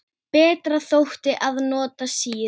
Betra þótti að nota sýru.